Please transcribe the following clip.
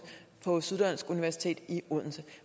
på syddansk universitet i odense